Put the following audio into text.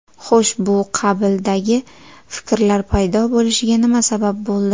Xo‘sh, bu qabildagi fikrlar paydo bo‘lishiga nima sabab bo‘ldi?